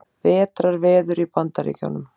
Vetrarveður í Bandaríkjunum